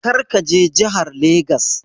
Kar ka je jahar Legas!